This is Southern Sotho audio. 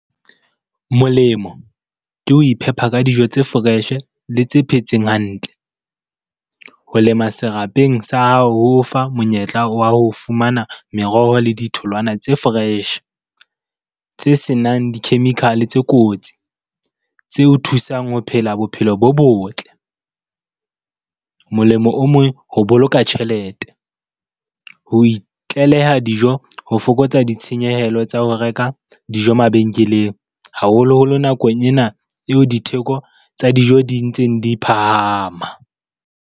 Molemo ke ho iphepa ka dijo tse fresh-e le tse phetseng hantle. Ho lema serapeng sa hao, ho o fa monyetla wa ho fumana meroho le ditholwana tse fresh. Tse senang di-chemical-e tse kotsi tse o thusang ho phela bophelo bo botle. Molemo o mong ho boloka tjhelete, ho itleleha dijo ho fokotsa ditshenyehelo tsa ho reka dijo mabenkeleng, haholoholo nakong ena eo ditheko tsa dijo di ntseng di phahama.